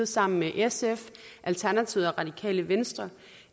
sammen med sf alternativet og radikale venstre